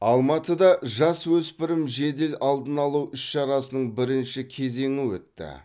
алматыда жасөспірім жедел алдын алу іс шарасының бірінші кезеңі өтті